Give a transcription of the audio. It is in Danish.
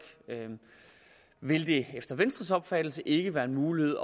vil det efter venstres opfattelse typisk ikke være en mulighed